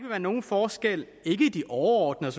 være nogen forskel i de overordnede